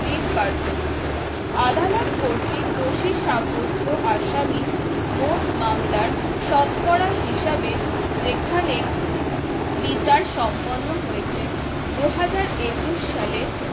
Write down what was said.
তিন percent আদালত কর্তৃক দোষী সাব্যস্ত আসামী মোট মামলা শতকরা হিসাবে যেখানে বিচার সম্পন্ন হয়েছে দুহাজার একুশ সালে